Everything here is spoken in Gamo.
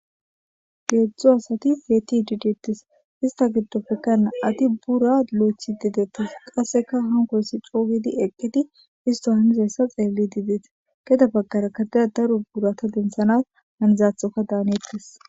Geetztzo asati peti diditis ista giddopfeka ati bura lo'echi dedettas qasseka hankoysi cougidi eqqidi isto hamizayssa xeelli diidees keda baggara kadeda daru burata dentsanas hanizathoka daaneettes.